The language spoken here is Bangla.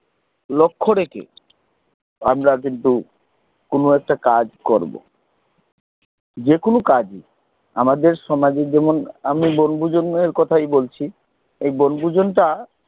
লক্ষ রেখে আমরা কিন্তু কোন একটা কাজ করব যেকোনো কাজেই আমাদের সমাজে যেমন আমি বনভোজনের কথাই বলছি এই বনভোজন টা